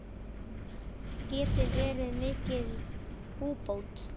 Það geti verið mikil búbót.